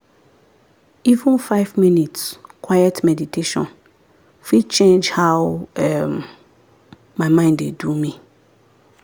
even five minutes quiet meditation fit change how um my mind dey do me.